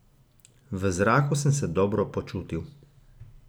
V zraku sem se dobro počutil.